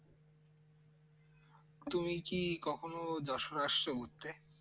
তুমি কি কখনো যশোর আসছো ঘুরতে